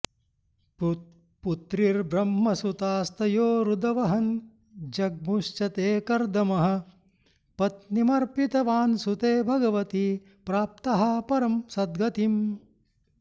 पुत्रीर्ब्रह्मसुतास्तयोरुदवहन् जग्मुश्च ते कर्दमः पत्नीमर्पितवान् सुते भगवति प्राप्तः परां सद्गतिम्